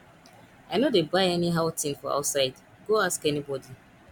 i no dey buy anyhow thing for outside go ask anybody